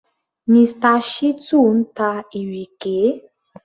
Mr. Shittu ń ta ìrèké